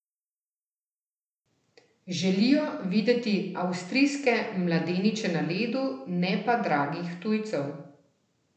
Želijo videti avstrijske mladeniče na ledu, ne pa dragih tujcev.